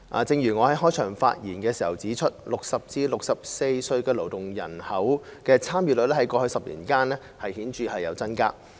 正如我在開場發言時指出 ，60 歲至64歲勞動人口參與率在過去10年間顯著增加。